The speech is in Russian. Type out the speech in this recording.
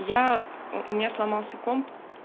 я у меня сломался комп